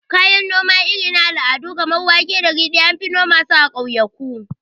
Kayan noma irin na al'adu kamar wake da ridi, anfi noma su a ƙauyaku